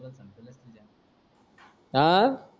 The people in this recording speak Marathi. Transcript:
आह